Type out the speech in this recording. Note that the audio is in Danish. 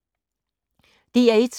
DR1